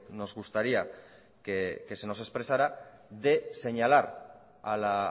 nos gustaría que se nos expresara de señalar a la